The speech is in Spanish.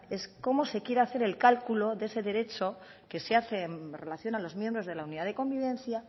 es cómo se quiere hacer el cálculo de ese derecho que se hace en relación a los miembros de la unidad de convivencia